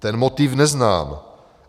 Ten motiv neznám.